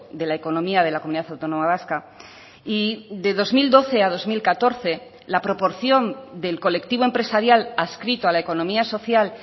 de la economía de la comunidad autónoma vasca y de dos mil doce a dos mil catorce la proporción del colectivo empresarial adscrito a la economía social